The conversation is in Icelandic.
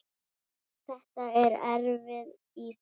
Þetta er erfið íþrótt.